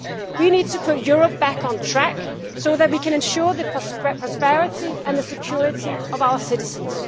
We need to put Europe back on track so that we can ensure the prosperity and security of our citizens.